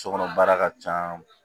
Sokɔnɔ baara ka ca